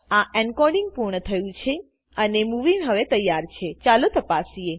આ એન્કોડિંગ પૂર્ણ થયું છે અને મુવી હવે તૈયાર છેચાલો તપાસીએ